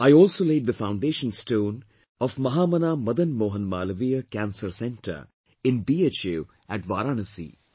I also laid the foundation stone of Mahamana Madan Mohan Malviya Cancer Centre in BHU at Varanasi